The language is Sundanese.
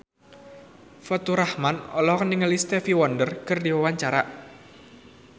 Faturrahman olohok ningali Stevie Wonder keur diwawancara